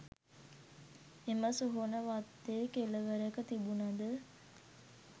එම සොහොන වත්තේ කෙළවරක තිබුණද